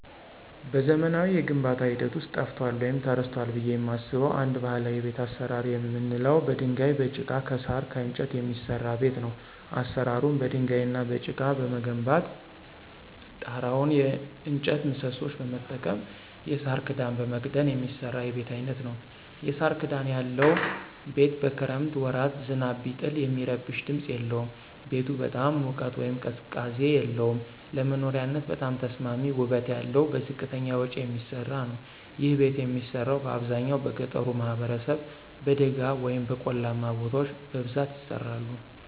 በዘመናዊ የግንባታ ሂደት ውስጥ ጠፍቷል ወይም ተረስቷል ብየ የማስበው አንድ ባህላዊ የቤት አሰራር የምንለው በድንጋይ፣ በጭቃ፣ ከሳር፣ ከእንጨት የሚሰራ ቤት ነው። አሰራሩም በድንጋይ እና በጭቃ በመገንባት ጤራውን የእጨት ምሰሶዎች በመጠቀም የሳር ክዳን በመክደን የሚሰራ የቤት አይነት ነዉ። የሳር ክዳን ያለው ቤት በክረምት ወራት ዝናብ ቢጥል የሚረብሽ ድምፅ የለውም። ቤቱ በጣም ሙቀት ወይም ቅዝቃዜ የለውም። ለመኖሪያነት በጣም ተስማሚ ውበት ያለው በዝቅተኛ ወጭ የሚሰራ ነዉ። ይህ ቤት የሚሰራው በአብዛኛው በገጠሩ ማህበረሰብ በደጋ ወይም በቆላማ ቦታዎች በብዛት ይሰራሉ።